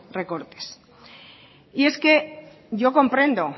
recortes y es que yo comprendo